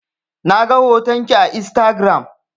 Na ga hoton ki a Instagiram.